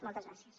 moltes gràcies